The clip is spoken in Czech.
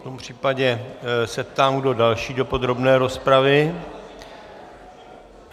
V tom případě se ptám, kdo další do podrobné rozpravy.